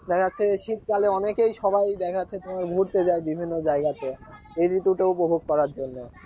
দেখা যাচ্ছে শীতকালে অনেকে সবাই দেখা যাচ্ছে তোমার ঘুরতে যায় বিভিন্ন জায়গাতে এই ঋতুটা উপভোগ করার জন্য